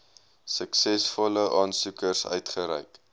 suksesvolle aansoekers uitgereik